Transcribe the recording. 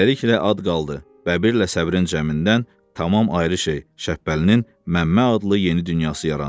Beləliklə ad qaldı, bəbirlə səbrin cəmindən tamam ayrı şey, Şəbbəlinin Məmmə adlı yeni dünyası yarandı.